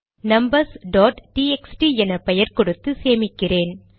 numbers dot TXT என பெயர் கொடுத்து சேமிக்கிறேன்